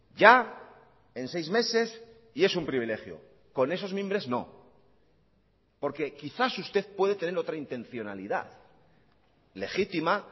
ya en seis meses y es un privilegio con esos mimbres no porque quizás usted puede tener otra intencionalidad legítima